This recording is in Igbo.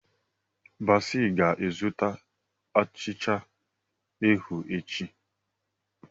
Bassey ga-azụta achịcha ahụ echi.